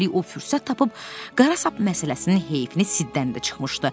Üstəlik o fürsət tapıb qara sap məsələsinin heyfini Siddən də çıxmışdı.